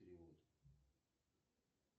перевод